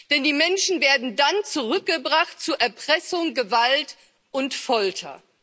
Denn die Menschen werden dann zurückgebracht, zu Erpressung, Gewalt und Folter.